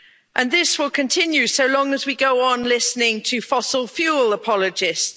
And this will continue so long as we go on listening to fossil fuel apologists.